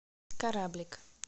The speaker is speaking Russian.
кораблик